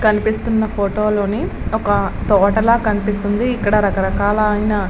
కనిపిస్తున్న ఫోటో లోని ఒక తోటల కనిపిస్తుంది ఇక్కడ రకరకాల అయిన --